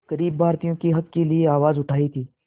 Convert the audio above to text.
ग़रीब भारतीयों के हक़ के लिए आवाज़ उठाई थी